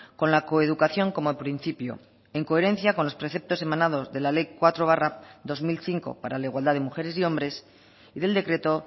con la coeducación como principio en coherencia con los preceptos emanados de la ley cuatro barra dos mil cinco para la igualdad de mujeres y hombres y del decreto